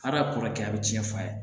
Hadamaden a bɛ tiɲɛ f'a ye